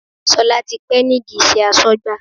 Sola ti pẹ́ nídìí iṣẹ́ asọ́gbà